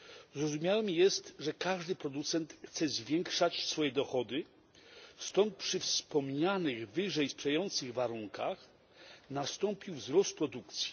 Zrozumiałe jest, że każdy producent chce zwiększać swoje dochody, stąd przy wspomnianych wyżej sprzyjających warunkach nastąpił wzrost produkcji.